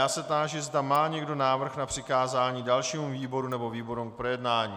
Já se táži, zda má někdo návrh na přikázání dalšímu výboru nebo výborům k projednání.